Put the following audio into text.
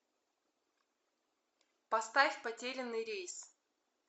поставь потерянный рейс